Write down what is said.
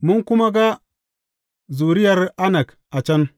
Mun kuma ga zuriyar Anak a can.